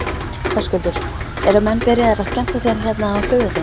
Höskuldur: Eru menn byrjaðir að skemmta sér hérna á flugvellinum?